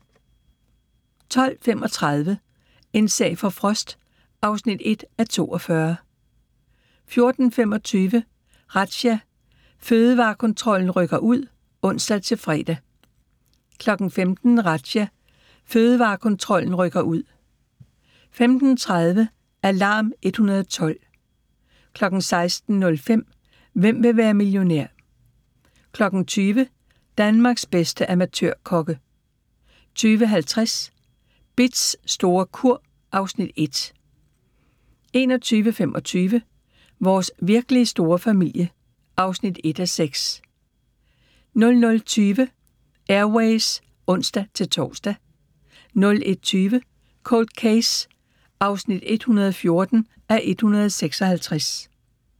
12:35: En sag for Frost (1:42) 14:25: Razzia – Fødevarekontrollen rykker ud (ons-fre) 15:00: Razzia – Fødevarekontrollen rykker ud 15:30: Alarm 112 16:05: Hvem vil være millionær? 20:00: Danmarks bedste amatørkokke 20:50: Bitz store kur (Afs. 1) 21:25: Vores virkelig store familie (1:6) 00:20: Air Ways (ons-tor) 01:20: Cold Case (114:156)